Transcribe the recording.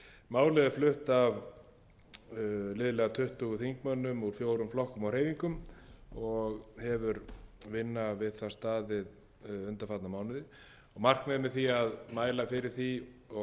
málið er flutt af liðlega tuttugu þingmönnum úr fjórum flokkum og hreyfingum og hefur vinna við það staðið undanfarna mánuði markmiðið með því að mæla fyrir því og